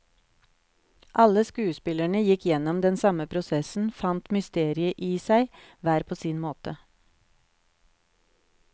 Alle skuespillerne gikk gjennom den samme prosessen, fant mysteriet i seg, hver på sin måte.